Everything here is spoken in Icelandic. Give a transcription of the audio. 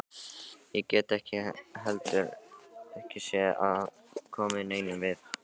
Ég get heldur ekki séð að það komi neinum við.